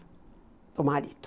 Com o marido.